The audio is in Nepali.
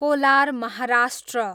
कोलार, महाराष्ट्र